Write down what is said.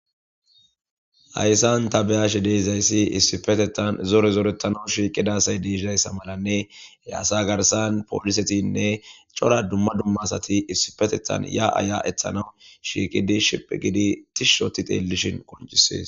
Ayssan ta beyashe deizayssi issifetetan zore zooretanawu shiiqidasay deesizayssa malanne e asa garsan poolisetinne cora dumma dumma asati issipetethan ya aya ethanawu shiiqidi shiph gidi tishshoti xeellishin qoncisees.